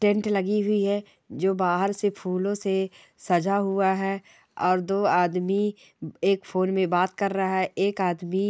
tent लगी हुई है जो बाहर से फूलो से सजा हुआ है और दो आदमी अ एक फोन मे बात कर रहा है एक आदमी--